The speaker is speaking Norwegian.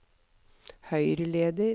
høyreleder